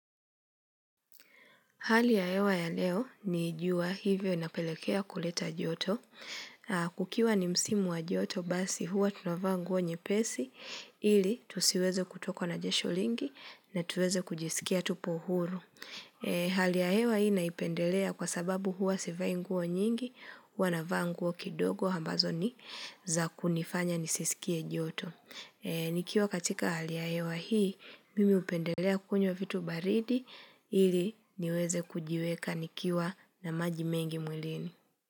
Hali ya hewa ya leo ni jua hivyo inapelekea kuleta joto. Kukiwa ni msimu wa joto basi huwa tunavaa nguo nyepesi ili tusiweze kutokwa na jasho lingi na tuweze kujisikia tupo huru. Hali ya hewa hii naipendelea kwa sababu huwa sivai nguo nyingi huwa navaa nguo kidogo ambazo ni za kunifanya nisisikie joto. Nikiwa katika hali ya hewa hii, mimi upendelea kunywa vitu baridi ili niweze kujiweka nikiwa na maji mengi mwilini.